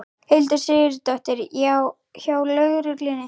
Hildur Sigurðardóttir: Hjá lögreglunni?